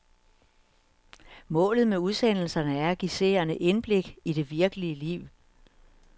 Målet med udsendelserne er at give seerne indblik i det virkelige liv.